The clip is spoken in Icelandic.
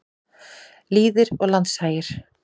Lýðir og landshagir.